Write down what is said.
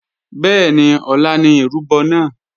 Bẹ́ẹ̀ni ọ̀la ni ìrúbọ náà